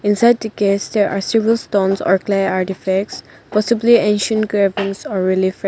beside the case stair a silver stones or clay artifacts possibly ancient cravings are .